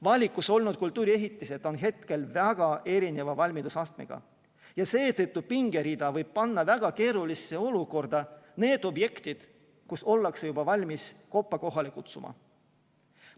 Valikus olnud kultuuriehitised on hetkel väga erineva valmidusastmega ja seetõttu võib pingerida panna väga keerulisse olukorda need objektid, kus ollakse juba valmis koppa kohale kutsuma.